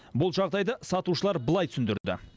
бұл жағдайды сатушылар былай түсіндірді